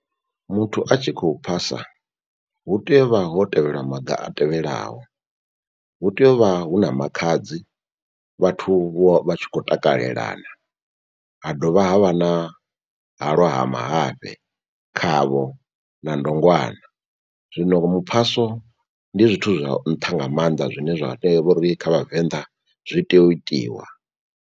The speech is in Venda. Muthu a tshi khou phasa hu tea u vha ho tevhelwa maga a tevhelaho. Hu tea u vha hu na makhadzi vhathu vho vha tshi khou takalelana. Ha dovha ha vha na halwa ha mahafhe, khavho na ndongwana. Zwino muphaso ndi zwithu zwa nṱha nga maanḓa zwine zwa tea uri kha vhavenḓa zwi tea u itiwa.